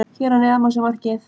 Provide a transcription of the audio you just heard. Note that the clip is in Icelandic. Hér að neðan má sjá markið.